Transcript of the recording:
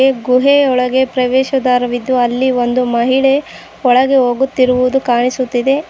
ಗುಹೆ ಒಳಗೆ ಪ್ರವೇಶ ದ್ವಾರವಿದ್ದು ಅಲ್ಲಿ ಒಂದು ಮಹಿಳೆ ಒಳಗೆ ಹೋಗುತ್ತಿರುವುದು ಕಾಣಿಸುತ್ತಿದೆ.